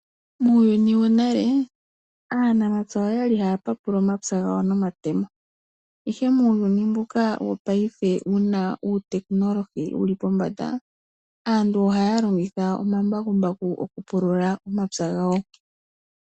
Muuyuni wonale aanamapya oya li haya papula omapya gawo nonamatemo , ihe muuyuni mbuka wopaife mboka wuna ehumokomeho lyili pombanda. Aantu ohaya longitha omambakumbaku okupulula omapya gawo.